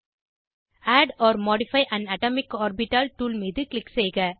add or modify an atomic orbital tool மீது click செய்க